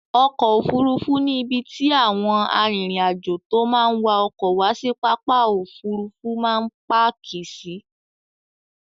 Ọkọ̀ Òfurufú ni ibi tí àwọn arìnrìn-àjò tó máa ń wa ọkọ̀ wá sí pápá Òfurufú máa ń páàkì sí.